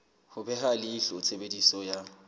ho beha leihlo tshebediso ya